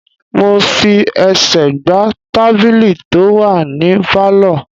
Mo fi ẹsẹ̀ gbá tábìlì tó wà ní Pálọ̀.